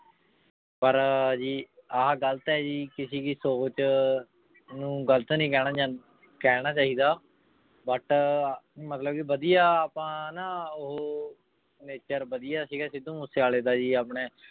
ਪਰ ਜੀ ਆਹ ਗ਼ਲਤ ਹੈ ਜੀ ਕਿਸੇ ਕੀ ਸੋਚ ਨੂੰ ਗ਼ਲਤ ਨੂੰ ਕਹਿਣਾ ਜਾ ਕਹਿਣਾ ਚਾਹੀਦਾ but ਮਤਲਬ ਕਿ ਵਧੀਆ ਆਪਾਂ ਨਾ ਉਹ nature ਵਧੀਆ ਸੀਗਾ ਸਿੱਧੂ ਮੂਸੇਵਾਲੇ ਦਾ ਜੀ ਆਪਣੇ